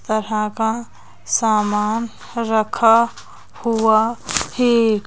तरह का सामान रखा हुआ है।